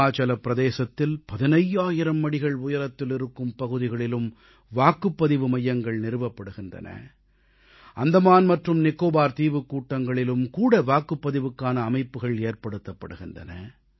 ஹிமாச்சலப் பிரதேசத்தில் 15000 அடிகள் உயரத்தில் இருக்கும் பகுதிகளிலும் வாக்குப்பதிவு மையங்கள் நிறுவப்படுகின்றன அந்தமான் மற்றும் நிகோபார் தீவுக்கூட்டங்களிலும் கூட வாக்குப்பதிவுக்கான அமைப்புகள் ஏற்படுத்தப்படுகின்றன